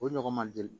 O ɲɔgɔn man deli